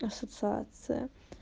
ассоциация